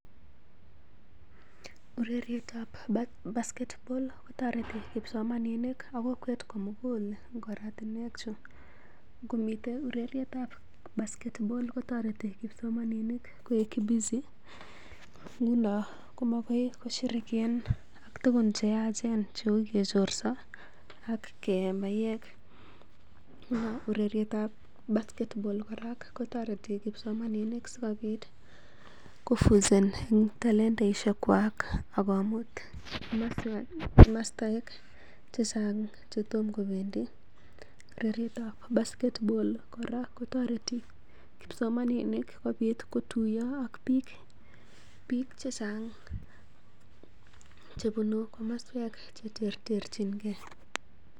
Urerietab basketball kotoreti kipsomaninik ak kokwet komugul en oratinwek chu: Ngomiten urerietab basket ball kotoreti kipsomaninik koik busy nguno komakoi koshirikian en tuguk che yachen cheu kechorso ak keye maiywek. Nguno ureryetab basket ball kora kotoreti kipsomaninik sikobit ko en talentaishekwak ak komut komoswek che chang che tom kobendi. Urerietab basket ball kora kotoreti kipsomaninik kotuiyo ak biik che bune komoswek che terter.